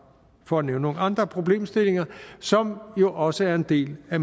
for at nævne nogle andre problemstillinger som jo også er en del af